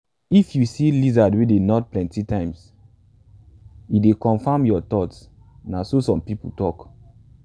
if you lizard wey dey nod plenty times e dey confirm your thoughts na so some people tok.